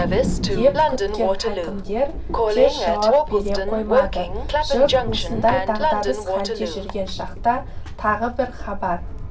деп күткен хакімдер тез жауап бере қоймады жұрт осындай дағдарыс халде жүрген шақта тағы бір хабар